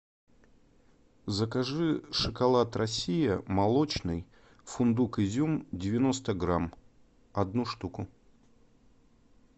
закажи шоколад россия молочный фундук изюм девяносто грамм одну штуку